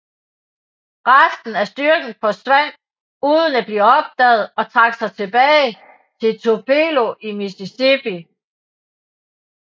Resten af styrken forsvandt uden at blive opdaget og trak sig tilbage til Tupelo i Mississippi